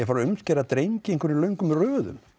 fara að umskera drengi í einhverjum löngum röðum